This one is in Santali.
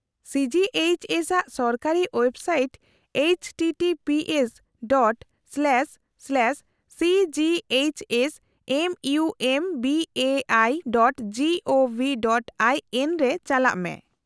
- ᱥᱤ ᱡᱤ ᱮᱭᱤᱪ ᱮᱥ ᱟᱜ ᱥᱚᱨᱠᱟᱨᱤ ᱳᱭᱮᱵᱥᱟᱭᱤᱴ httpsᱺ//cghsmumbaiᱹgovᱹin ᱨᱮ ᱪᱟᱞᱟᱜ ᱢᱮ ᱾